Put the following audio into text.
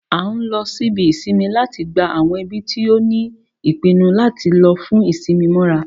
A n lo ibí isínmì láti gbá awọn ẹbi ti o tí pinnu lati lò fún isinmi móra